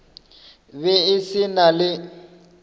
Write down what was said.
be e se na le